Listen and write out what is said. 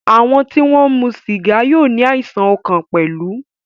Àwọn tí wọ́n ń mu sìgá yóò ní àìsàn ọkàn pẹ̀lú.